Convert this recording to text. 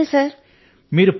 ధన్యవాదాలు సర్